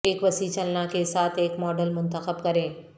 ایک وسیع چلنا کے ساتھ ایک ماڈل منتخب کریں